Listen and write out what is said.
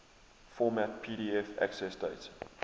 format pdf accessdate